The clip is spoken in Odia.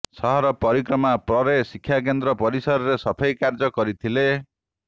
ସହର ପରିକ୍ରମା ପରେ ଶିକ୍ଷାକେନ୍ଦ୍ର ପରିସରରେ ସଫେଇ କାର୍ଯ୍ୟ କରିଥିଲେ